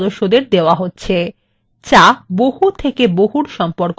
যা বহু থেকে বহুর সম্পর্ক বোঝায়